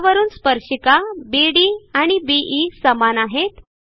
ह्यावरून स्पर्शिका बीडी आणि बीई समान आहेत